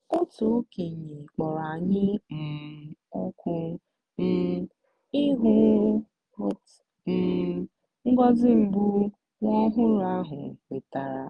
otu okenye kpọrọ anyị um òkù um ịhụ um ngọzi mbụ nwa ọhụrụ ahụ nwetara.